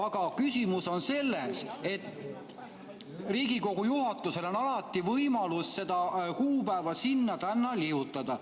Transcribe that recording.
Aga küsimus on selles, et Riigikogu juhatusel on alati võimalus seda kuupäeva sinna-tänna nihutada.